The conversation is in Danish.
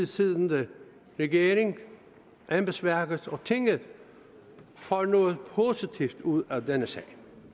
siddende regering embedsværket og tinget får noget positivt ud af denne sag